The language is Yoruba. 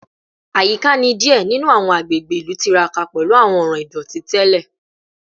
Ayika ni diẹ ninu awọn agbegbe ilu tiraka pẹlu awọn ọran idoti tẹlẹ